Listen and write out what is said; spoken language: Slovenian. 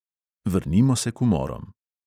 Vrnimo se k umorom.